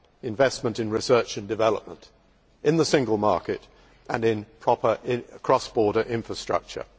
investment in research and development in the single market and in cross border infrastructure.